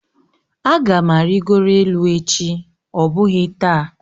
Aga m arịgoro elu echi ọ bụghị taa